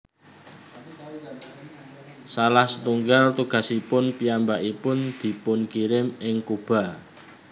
Salah satunggal tugasipun piyambakipun dipunkirim ing Kuba